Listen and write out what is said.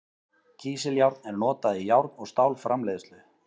Kísiljárn er notað í járn- og stálframleiðslu.